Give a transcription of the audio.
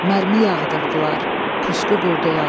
Mərmi yağdırdılar, pusqu qurdular.